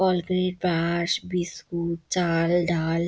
all grade বাস biscuit চা-আ-ল ডা-আ-ল--